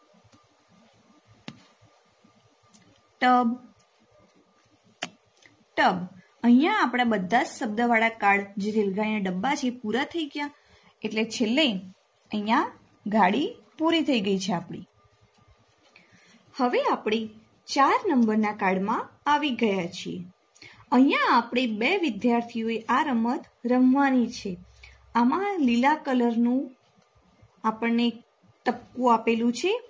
હવે આપણે ચાર નુંબર ન card માં આવી ગયા છીએ અહિયાં આપણે બે વિધ્યાર્થીઓએ આ રમત રમવાની છે. આમાં લીલા કલરનું આપણને ટપકું આપેલું છે.